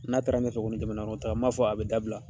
N'a taara ɲɛfɛ jamana kɔnɔ taa, n m'a fɔ, a bi dabila